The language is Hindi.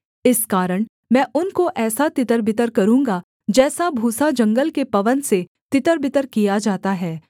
इस कारण मैं उनको ऐसा तितरबितर करूँगा जैसा भूसा जंगल के पवन से तितरबितर किया जाता है